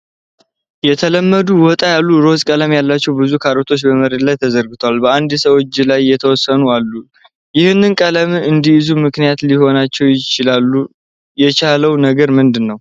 ከተለምዶ ወጣ ያለ ሮዝ ቀለም ያላቸው ብዙ ካሮቶች በመሬት ላይ ተዘርግተዋል። በአንድ ሰው እጅ ላይ የተወሰኑት አሉ። ይሀንን ቀለም እንዲይዙ ምክንያት ሊሆናቸው ይቻለው ነገር ምንድን ነው።